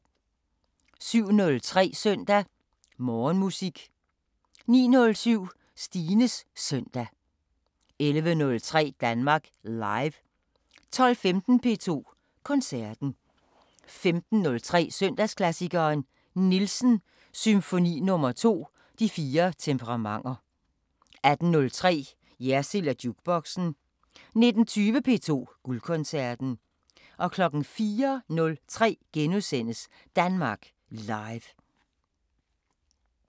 07:03: Søndag Morgenmusik 09:07: Stines Søndag 11:03: Danmark Live 12:15: P2 Koncerten 15:03: Søndagsklassikeren – Nielsen: Symfoni nr. 2. De fire temperamenter 18:03: Jersild & Jukeboxen 19:20: P2 Guldkoncerten 04:03: Danmark Live *